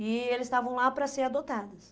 E eles estavam lá para ser adotados.